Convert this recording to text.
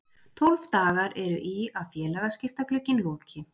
Tólf dagar eru í að félagaskiptaglugginn loki.